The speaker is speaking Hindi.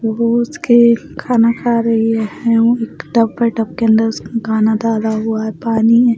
वो उसके खाना खा रही है और टप है टप के अंदर उसका खाना डाला हुआ है पानी है।